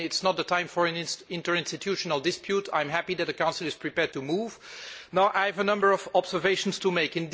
It is not the time for an interinstitutional dispute. I am happy that the Council is prepared to move. I have a number of observations to make.